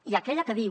i aquella que diu